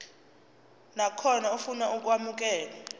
nakhona ofuna ukwamukelwa